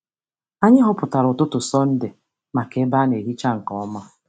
Anyị họpụtara ụtụtụ Sọnde maka ebe a na-ehicha nke ọma.